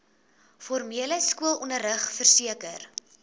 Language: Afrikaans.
formele skoolonderrig verseker